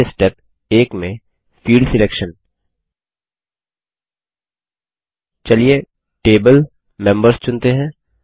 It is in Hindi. पहले स्टेप 1 में फील्ड सिलेक्शन चलिए Table मेंबर्स चुनते हैं